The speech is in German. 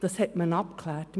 Das wurde abgeklärt.